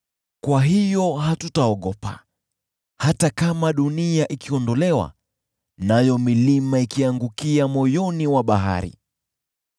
Kwa hiyo hatutaogopa, hata kama dunia ikiondolewa nayo milima ikiangukia moyoni mwa bahari.